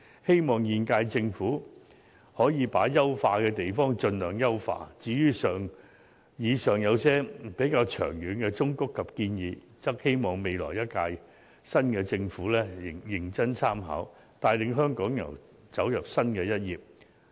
希望現屆政府把可以優化的地方盡量優化，至於以上一些較長遠的忠告及建議，則希望新政府能認真參考，帶領香港揭開新的一頁。